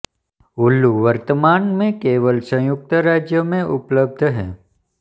हुलु वर्तमान में केवल संयुक्त राज्य में उपलब्ध है